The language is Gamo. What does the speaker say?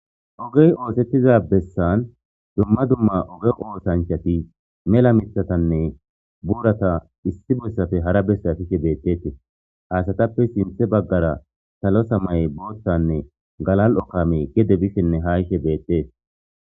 ogey oosettiza bessan dumma dumma oge oosanchati mela mithatanne buurata issi bossafe hara bessa fishe beettetii haasatappe sinthe baggara salosa may boottanne galal7okame gede bisshenne hayshe beettees